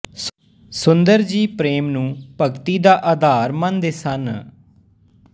ਸੁੰਦਰ ਜੀ ਪ੍ਰੇਮ ਨੂੰ ਭਗਤੀ ਦਾ ਆਧਾ ਰ ਮੰਨਦੇ ਸਨ